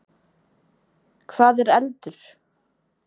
Hvað er eldur?